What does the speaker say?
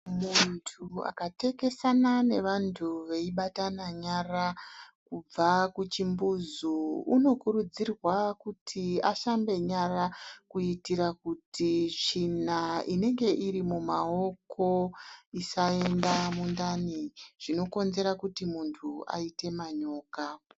Muntu akatekesana nevantu veibatana nyara, kubva kuchimbuzi unokurudzirwa kuti ashambe nyara kuitira kuti tsvina inenge irimumaoko isaenda mundani zvinokonzera kuti muntu aite manyoka.